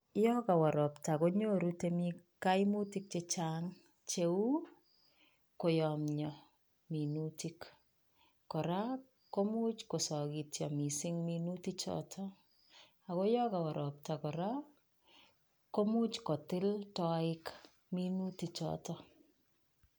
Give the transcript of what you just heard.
Yon kawa ropta konyoru temik kaimutik chechang cheu koyamia minutik , kora komuch kosakityo mising minutik choto ako yo kawa ropta kora komuch kotil toiik minutik choto.